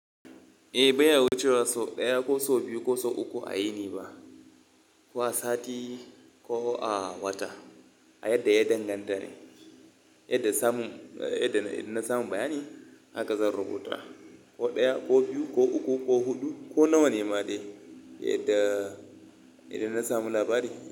Eh, bai wucewa sau ɗaya ko sau biyu ko sau uku a yini ba. Ko a sati ko a wata, a yadda ya danganta ne. Yadda samu, yadda na samu bayani haka zan rubuta. Ko ɗaya ko biyu ko uku ko huɗu ko nawa ne ma dai, yadda, idan na samu labari.